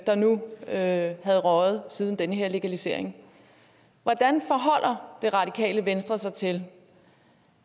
der nu havde røget siden den her legalisering hvordan forholder det radikale venstre sig til